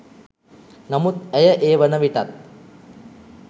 නමුත් ඇය ඒ වන විටත්